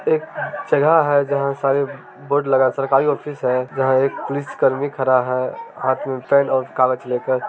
एक जगह है जहां सारे बोर्ड लगा है | सरकारी ऑफिस हैं जहाँ एक पुलिस कर्मी खड़ा है हाथ में पेन और कागज लेकर |